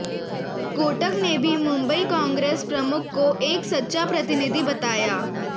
कोटक ने भी मुंबई कांग्रेस प्रमुख को एक सच्चा प्रतिनिधि बताया